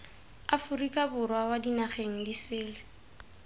aforika borwa kwa dinageng disele